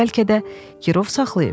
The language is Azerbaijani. Ya bəlkə də girov saxlayıb?